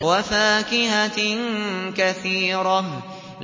وَفَاكِهَةٍ كَثِيرَةٍ